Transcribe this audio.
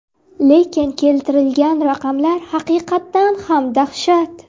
Lekin keltirilgan raqamlar haqiqatan ham dahshat.